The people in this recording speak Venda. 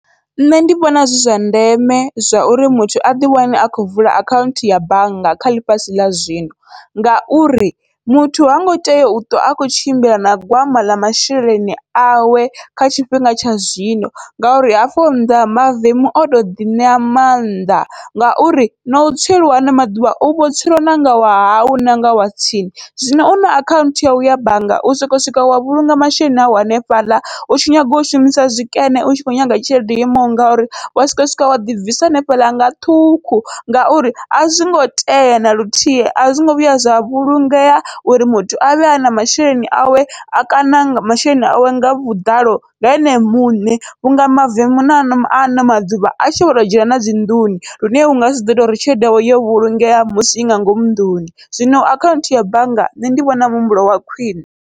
Nṋe ndi vhona zwi zwa ndeme zwauri muthu aḓi wane a khou vula akhaunthu ya bannga kha ḽifhasi ḽa zwino, ngauri muthu hango tea uṱwa a khou tshimbila na gwama ḽa masheleni awe kha tshifhinga tsha zwino, ngauri hafho nnḓa mavemu oto ḓi ṋea mannḓa ngauri nau tsweliwa hano maḓuvha uvho tswelwa na nga wahau nanga wa tsini, zwino u na akhanthu yau ya bannga u soko swika wa vhulunga masheleni awu hanefhaḽa utshi nyaga u shumisa zwikene utshi kho nyaga tshelede yo imaho ngauri wa swika wa swika wa ḓibvisa hanefhaḽa nga ṱhukhu. Ngauri azwingo tea naluthihi azwingo vhuya zwa vhulungea uri muthu avhe ana masheleni awe a kana masheleni awe nga vhuḓalo nga ene muṋe, vhunga mavemu na ano ano maḓuvha atshi vho to dzhena nadzi nnḓuni lune ungasi ḓoita uri tshelede yau yo vhulungea musi inga ngomu nnḓuni, zwino akhaunthu ya bannga nṋe ndi vhona muhumbulo wa khwiṋe.